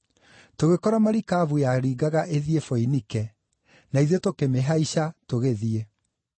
Tũgĩkora marikabu yaringaga ĩthiĩ Foinike, na ithuĩ tũkĩmĩhaica tũgĩthiĩ.